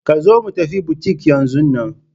Ka zo mu tafi butik yanzun nan!